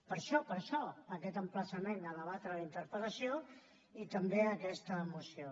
per això per això aquest emplaçament a debatre la interpel·lació i també aquesta moció